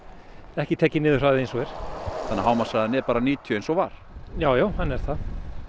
ekki tekinn niður eins og er þannig að hámarkshraðinn er bara níutíu eins og var jájá hann er það